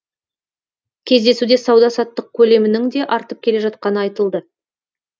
кездесуде сауда саттық көлемінің де артып келе жатқаны айтылды